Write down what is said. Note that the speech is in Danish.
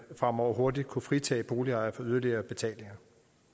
fremover hurtigere kunne fritage boligejere for yderligere betalinger